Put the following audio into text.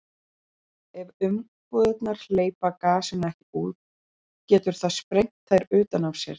ef umbúðirnar hleypa gasinu ekki út getur það sprengt þær utan af sér